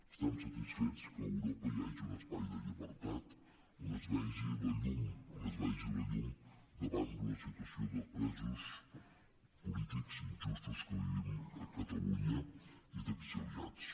estem satisfets que a europa hi hagi un espai de llibertat on es vegi la llum on es vegi la llum davant d’una situació de presos polítics injustos que vivim a catalunya i d’exiliats